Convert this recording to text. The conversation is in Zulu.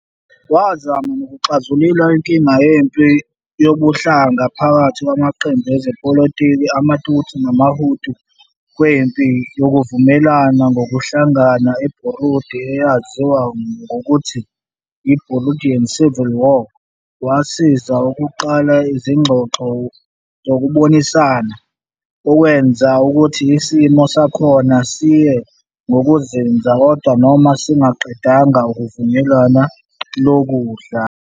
Wazama nokuxazulula inkinga yempi yobuhlanga phakathi kwamaqembu ezepolitiki ama-Tutsi nama-Hutu kwempi yokuvukelana ngobuhlanga eBurundi eyaziwa ngokuthi yi-Burundian Civil War, wasiza ukuqala izingxoxo zokubonisana, okwenza ukuthi isimo sakhona siye ngokuzinza kodwa noma singaqedanga uvukelwano lodlame.